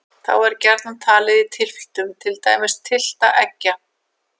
Þá er gjarnan talið í tylftum, til dæmis tylft eggja.